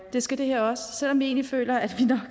det skal det her også selv om vi egentlig føler at